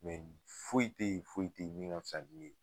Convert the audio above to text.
ni foyi te yen, foyi te yen ni min ka fisa ni min ye.